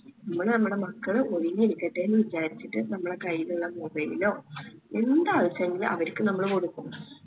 നമ്മൾ നമ്മളെ മക്കള് ഇരിക്കട്ടേന്ന് വിചാരിച്ചിട്ട് നമ്മളെ കൈയിലുള്ള mobile ഓ എന്ത് ആവശ്യണെങ്കില് അവർക്ക് നമ്മള് കൊടുക്കും